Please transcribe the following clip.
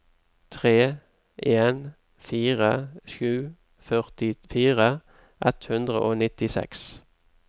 tre en fire sju førtifire ett hundre og nittiseks